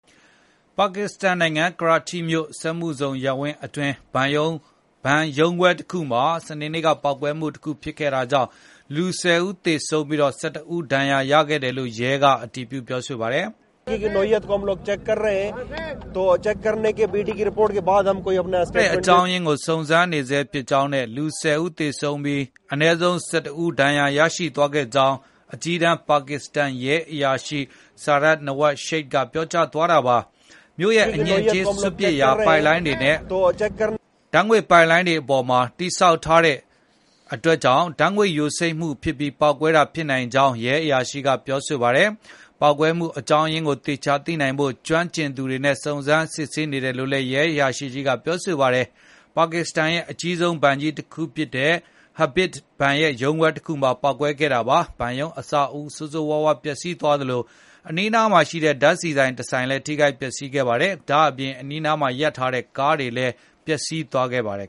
ပါကစ္စတန်နိုင်ငံ ကရာချိမြို့ စက်မှုဇုံရပ်ဝန်းအတွင်း ဘဏ်ရုံးခွဲတခုမှာ စနေနေ့က ပေါက်ကွဲမှု ဖြစ်ခဲ့တာကြောင့် လူ ၁၀ ဦးထက်မနည်း သေဆုံးပြီး ၁၁ ဦး ဒဏ်ရာရခဲ့တယ်လို့ ရဲက အတည်ပြုပါတယ်။ “ပေါက်ကွဲရတဲ့ အေကြာင်းရင်းကို စုံစမ်းနေဆဲဖြစ်ကြောင်းနဲ့ လူ ၁၀ ဦး သေဆုံးပြီး အနည်းဆုံး ၁၁ ဦး ဒဏ်ရာရသွားခဲ့ကြောင်း” အကြီးတန်း ပါကစ္စတန်ရဲအရာရှိ Sarfraz Nawaz Sheikh က ပြောသွားတာပါ။ မြို့ရဲ့ အညစ်အကြေးစွန့်ပစ်ရာ ပိုက်လိုင်းတွေနဲ့ ဓာတ်ငွေ့ပိုက်လိုင်းတွေ အပေါ်မှာ တည်ဆောက်ထားတဲ့အတွက် ဓာတ်ငွေ့ယိုစိမ့်ပြီး ပေါက်ကွဲမှုဖြစ်တာ ဖြစ်နိုင်ကြောင်း ရဲအရာရှိက ပြောပါတယ်။ ပေါက်ကွဲမှု အကြောင်းအရင်းကို သေချာသိနိုင်ဖို့ ကျွမ်းကျင်သူတွေနဲ့ စုံစမ်းစစ်ဆေးဖို့ လုပ်နေတယ်လို့ ရဲအရာရှိကြီးက ပြောပါတယ်။ ပါကစ္စတန်ရဲ့ အကြီးဆုံးဘဏ်ကြီးတခုဖြစ်တဲ့ Habib ဘဏ်ရဲ့ ရုံးခွဲတခုမှာ ပေါက်ကွဲခဲ့တာပါ။ ဘဏ်ရုံးအဆောက်အဦး ဆိုးဆိုးရွားရွား ပျက်စီးသွားသလို အနီးအနားမှာရှိတဲ့ ဓာတ်ဆီဆိုင်တဆိုင်လည်း ထိခိုက်ပျက်စီးခဲ့ပါတယ်။ ဒါ့အပြင် အနီးမှာရပ်ထားတဲ့ ကားတွေလည်း ပျက်စီးသွားခဲ့ပါတယ်